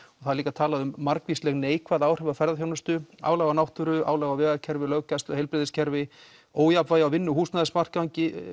það er líka talað um margvísleg neikvæð áhrif á ferðaþjónustu álag á náttúru álag á vegakerfi löggæslu heilbrigðiskerfi ójafnvægi á vinnu og húsnæðismarkaði